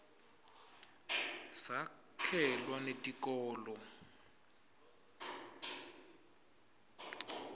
sakhelwa netikolo